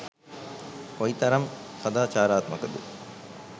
කොයි තරම් සදාචාරාත්මකද?